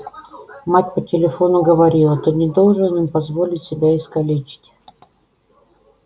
мать по телефону говорила ты не должен им позволить себя искалечить